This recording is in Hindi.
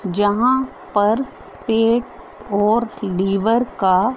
जहां पर पेट और लीवर का--